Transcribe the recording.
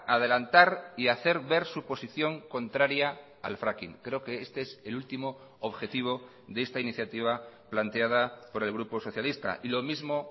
adelantar y hacer ver su posición contraria al fracking creo que este es el último objetivo de esta iniciativa planteada por el grupo socialista y lo mismo